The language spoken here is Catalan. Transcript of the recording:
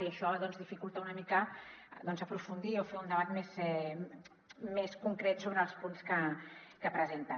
i això dificulta una mica aprofundir o fer un debat més concret sobre els punts que presenten